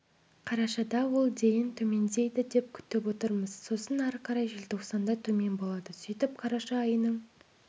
қарашада ол дейін төмендейді деп күтіп отырмыз сосын ары қарай желтоқсанда төмен болады сөйтіп қараша айының